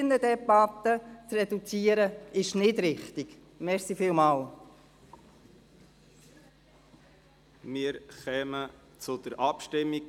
Da die Finanzdirektorin auf ein Votum verzichtet, kommen wir zur Abstimmung.